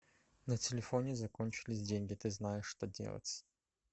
на телефоне закончились деньги ты знаешь что делать